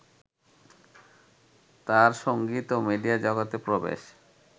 তাঁর সঙ্গীত ও মিডিয়া জগতে প্রবেশ